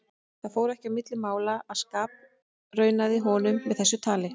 Það fór ekki á milli mála að ég skapraunaði honum með þessu tali.